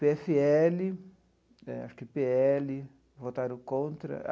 pê efe ele eh, acho que pê ele, votaram contra.